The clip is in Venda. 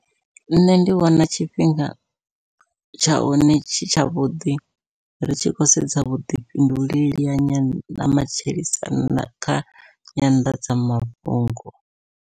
Nṋe ndi vhona tshifhinga tsha hone tshi tsha vhuḓi ri tshi khou sedza vhuḓifhinduleli ha nyanḓa ha matshilisano kha nyanḓadzamafhungo.